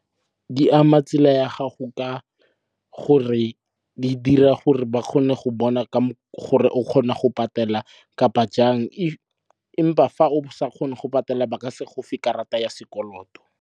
Di ama tsela ya gago ka gore di dira gore ba kgone go bona gore o kgona go patela kapa jang. Empa fa o sa kgone go patela ba ka se go fe karata ya sekoloto.